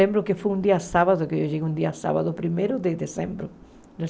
Lembro que foi um dia sábado, que eu cheguei um dia sábado, primeiro de dezembro de